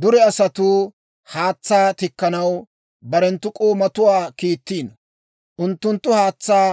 Dure asatuu haatsaa tikkanaw barenttu k'oomatuwaa kiittiino. Unttunttu haatsaa